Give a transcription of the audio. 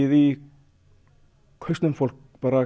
í hausnum fólk